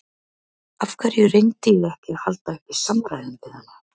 Af hverju reyndi ég ekki að halda uppi samræðum við hana?